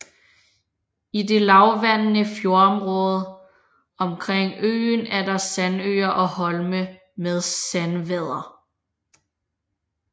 I det lavvandendede fjordområde omkring øen er der sandøer og holme med sandvader